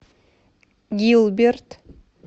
гилберт